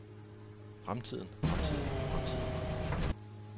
fremtiden fremtiden fremtiden